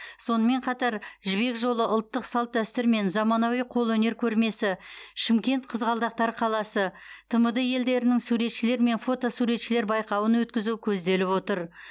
сонымен қатар жібек жолы ұлттық салт дәстүр мен заманауи қолөнер көрмесі шымкент қызғалдақтар қаласы тмд елдерінің суретшілер және фотосуретшілер байқауын өткізу көзделіп отыр